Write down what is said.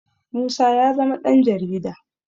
Musa ya zama ɗanJarida